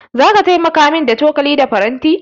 Zaka taimaka min da cokali da faranti?